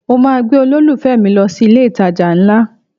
Mo máa gbé olólùfẹ́ mi lọ sí ilé-ìtajà ńlá